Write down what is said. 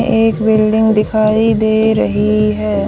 एक बिल्डिंग दिखाई दे रही है।